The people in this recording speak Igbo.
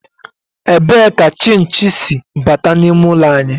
Ebee ka chinchi si bata n'ime ụlọ anyị?